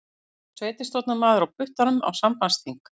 Sveitarstjórnarmaður á puttanum á sambandsþing